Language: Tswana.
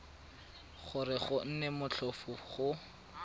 gore go nne motlhofo go